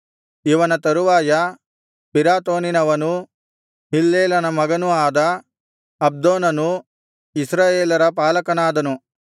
ಇವನ ತರುವಾಯ ಪಿರಾತೋನಿನವನೂ ಹಿಲ್ಲೇಲನ ಮಗನೂ ಆದ ಅಬ್ದೋನನು ಇಸ್ರಾಯೇಲರ ಪಾಲಕನಾದನು